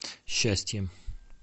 счастье